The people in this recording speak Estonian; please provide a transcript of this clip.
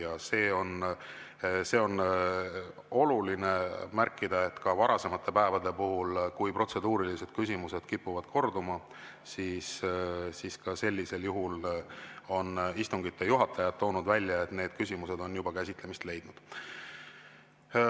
Ja on oluline märkida, et ka varasematel päevadel, kui protseduurilised küsimused kipuvad korduma, on istungi juhatajad toonud välja, et need küsimused on juba käsitlemist leidnud.